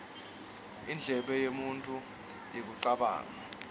inble yemuntju yekucabanga